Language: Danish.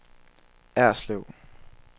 Erslev